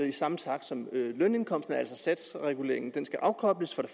i samme takt som lønindkomsterne altså skal satsreguleringen afkobles for det